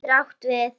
Ís getur átt við